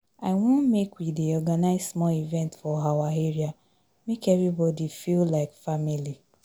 I wan make we dey organize small event for our area, make everybodi feel like family.